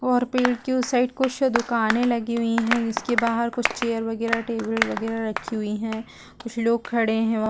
और पेड़ के उस साइड कुछ दुकाने लगी हुई है जिसके बाहर कुछ चेयर वगैरह टेबल वगेरा रखी हुई है कुछ लोग खड़े है वहाँ --